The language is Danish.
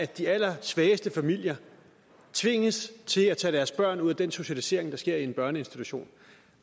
de allersvageste familier tvinges til at tage deres børn ud af den socialisering der sker i en børneinstitution